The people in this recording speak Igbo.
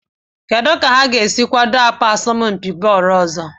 Kedu ka ha ga-esi kwado asọmpi bọọlụ ọzọ?